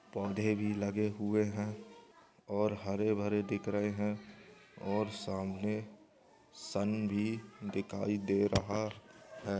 पोद हैं भी लगे हुए हैं ओर हरे भरे दिख रहैं हैं ओर सामने सुन भी दीखाई दे रहा हैं।